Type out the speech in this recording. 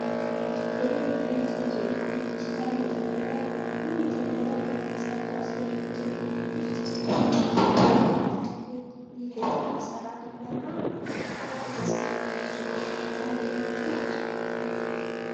ቴሌብር የኢትዮ ቴሌኮም ዲጂታል መተግበሪያ ነው። ይህ መተግበሪያ ከሚይዛቸው አስደናቂ ነገሮች ውስጥ የሞባይል ጥቅል፣ የገንዘብ ማስተላለፊያ እና የዘመን ገበያ ዋነኞቹ ናቸው።